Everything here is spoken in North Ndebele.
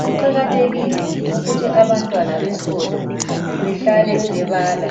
kuqakathekile ukuthi abantwana besikolo behlale bebala.